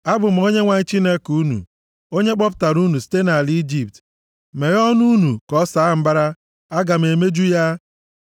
Abụ m Onyenwe anyị Chineke unu, onye kpọpụtara unu site nʼala Ijipt. Meghe ọnụ unu ka ọ saa mbara, aga m emeju ya.